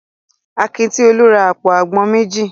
Akin ti Olú ra àpò àgbọn méjì.